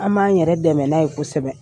An b'an yɛrɛ dɛmɛ n'a ye kosɛbɛ .